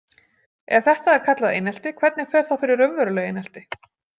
Ef þetta er kallað einelti, hvernig fer þá fyrir raunverulegu einelti?